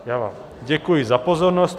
Já vám děkuji za pozornost.